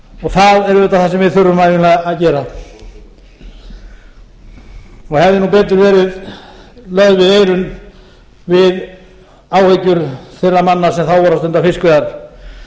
það er auðvitað það sem við þurfum að gera og hefði betur verið lögð við eyrun við áhyggjur þeirra manna sem þá voru að stunda fiskveiðar